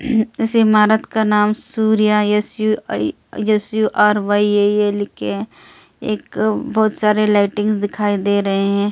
इस इमारत का नाम Surya S U I S U R Y A A लिखे एक बहुत सारे लाइटिंग दिखाई दे रहे हैं।